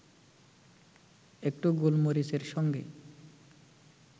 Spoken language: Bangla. একটু গোলমরিচের সঙ্গে